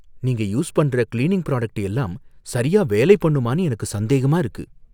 நீங்க யூஸ் பண்ற cleaning product எல்லாம் சரியா வேலை பண்ணுமான்னு எனக்கு சந்தேகமா இருக்கு.